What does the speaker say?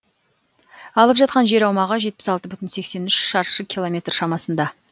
алып жатқан жер аумағы жетпіс алты бүтін сексен үш шаршы километр шамасында